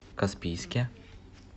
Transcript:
каспийске